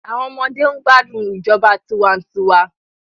Àwọn ọmọdé ń gbádùn ìjọba tiwa-n-tiwa